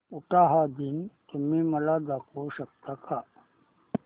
उटाहा दिन तुम्ही मला दाखवू शकता का